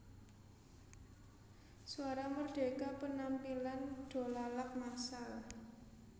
Suara Merdeka Penampilan Dolalak massal